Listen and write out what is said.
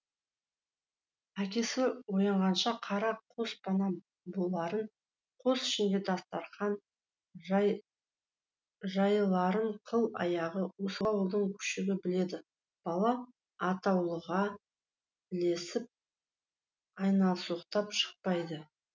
әкесі оянғанша қара қос пана боларын қос ішінде дастарқан жайыларын қыл аяғы осы ауылдың күшігі біледі бала атаулыға ілесіп айналсоқтап шықпайды